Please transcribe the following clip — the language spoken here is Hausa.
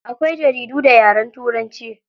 Akwai jaridu da yaren turanci.